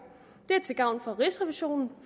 det er til gavn for rigsrevisionen